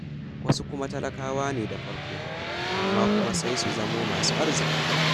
Wasu kuma talakawane da farko, amma kuma sai su zamo masu arziƙi.